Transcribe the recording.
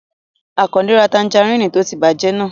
Àkàndé ra tanjarínnì tó ti bàjẹ́ náà